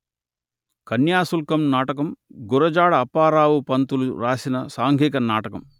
కన్యాశుల్కం నాటకం గురజాడ అప్పారావు పంతులు రాసిన సాంఘిక నాటకం